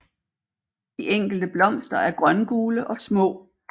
De enkelte blomster er grøngule og små